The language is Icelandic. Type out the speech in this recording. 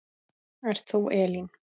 Ert þú Elín?